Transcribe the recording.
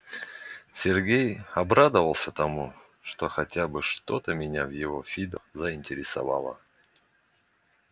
сергей обрадовался тому что хотя бы что-то меня в его фидо заинтересовало